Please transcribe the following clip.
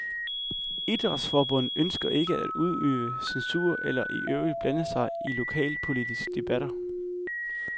Idrætsforbundet ønsker ikke at udøve censur eller i øvrigt blande sig i lokalpolitiske debatter.